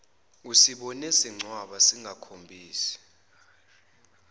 usibone sincwaba singakhombisi